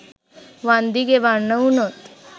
වන්දි ගෙවන්න වුනොත්?